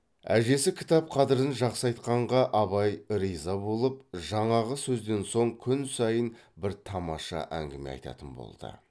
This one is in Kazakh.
әжесі кітап қадірін жақсы айтқанға абай риза болып жаңағы сөзден соң күн сайын бір тамаша әңгіме айтатын болды